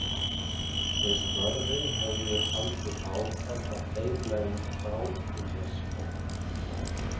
Þeir Snorri höfðu haldið áfram að deila um Krákunesskóg.